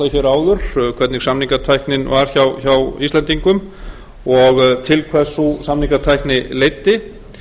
áður hvernig samningatæknin var hjá íslendingum og til hvers sú samningatækni leiddi